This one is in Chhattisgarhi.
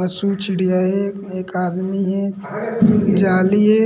पशु चिड़िया हे एक आदमी हे जाली हे --